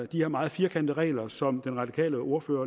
de her meget firkantede regler som den radikale ordfører